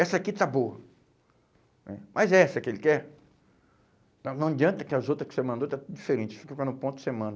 Essa aqui está boa né, mas essa que ele quer, então não adianta que as outras que você mandou está tudo diferente, quando ficar no ponto que você manda.